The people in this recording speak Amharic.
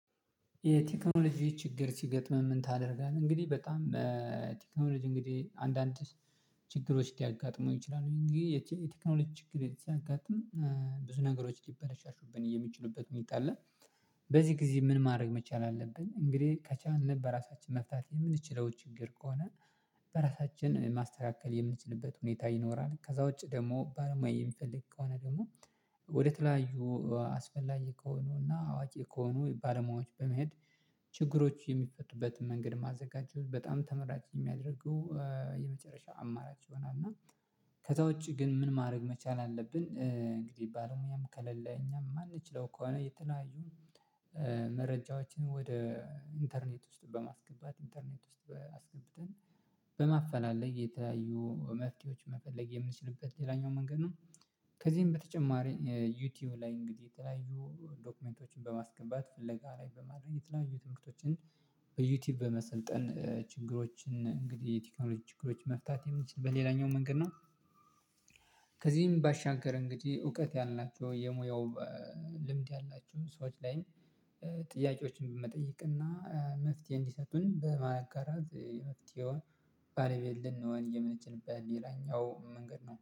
የቴክኖሎጂ ችግር ሲገጥምም ምን ታደርጋለህ? እንግዲህ በጣም ቴክኖሎጂ እንግዲህ አንዳንድ ችግሮች ሲያጋጥመው ይችላሉ የቴክኖሎጂ ችግር ሲያጋጥም ብዙ ነገሮች ሊበረሻሹብን የሚችሉበት መጣለል በዚህ ጊዜ ምን ማድረግ መቻል አለብን እንግዲህ ከቻልን በራሳችን መፍታት የምንችለው ችግር ከሆነ በራሳችን ማስተካከል የምንችልበት ሁኔታ ይኖራል። ከዛ ውጪ ደግሞ ባለሙያ የምንፈልግ ከሆነ ደግሞ ወደ ተለያዩ አስፈላጊ ከሆኑ እና አዋጊ ከሆኑ ባለሙያዎች በመሄድ ችግሮች የሚፈቱበትን መንገድ ማዘጋጀቱ በጣም ተመራጭ የሚያደርጉ የመጨረሻው አማራጭ ይሆናል። ከዛ ውጪ ግን ምን ማድረግ መቻል አለብን እንግዲህ ባለሙያም ከለለ እኛም አንችለው ከሆነ የተለያዩ መረጃዎችን ወደ ኢንተርኔት ውስጥ በማስገባት ኢንተርኔት ውስጥ በማፈላለግ የተያዩ መፍትሄዎች መፈለግ የምንችልበት ሌላኛው መንገድ ነው። ከዚህም በተጨማሪ ዩቲዩብ ላይ እንግዲህ የተለያዩ ዶክመንቶችን በማስገባት ፍለጋ ላይ በማድረግ የተለያዩ ትምህርቶችን በዩቲዩብ በመሰልጠን ችግሮችን እንግዲህ የቴክኖሎጂ ችግሮችን መፍታት የምንችል በሌላኛው መንገድ ነው። ከዚህም ባሻገር እንግዲህ እውቀት ያላቸው የሙያው ልምድ ያላችሁ ሰዎች ላይ ጥያቄዎችን በመጠየቅ እና መፍትሄ እንዲሰጡን በማጋራት የመፍትሄውን ባለቤት ልንሆን የምንችልበት ሌላኛው መንገድ ነው